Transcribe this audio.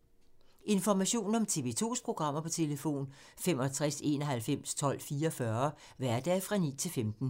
Information om TV 2's programmer: 65 91 12 44, hverdage 9-15.